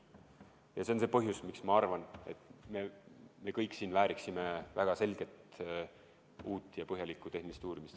Ja see on see põhjus, miks ma arvan, et me kõik väärime väga selget uut ja põhjalikku tehnilist uurimist.